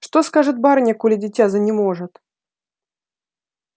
что скажет барыня коли дитя занеможет